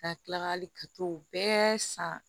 Ka kila ka hali ka t'o bɛɛ san